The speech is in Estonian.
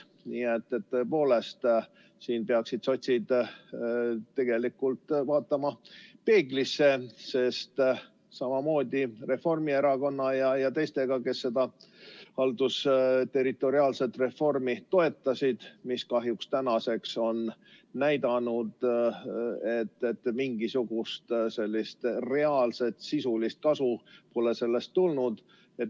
Nii et tõepoolest, siin peaksid sotsiaaldemokraadid tegelikult peeglisse vaatama, samamoodi Reformierakond ja teised, kes seda haldusterritoriaalset reformi toetasid, mis kahjuks tänaseks on näidanud, et mingisugust reaalset sisulist kasu pole sellest olnud.